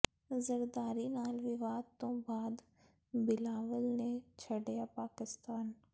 ਜ਼ਰਦਾਰੀ ਨਾਲ ਵਿਵਾਦ ਤੋਂ ਬਾਅਦ ਬਿਲਾਵਲ ਨੇ ਛੱਡਿਆ ਪਾਕਿਸਤਾਨ